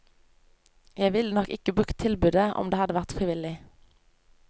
Jeg ville nok ikke brukt tilbudet om det hadde vært frivillig.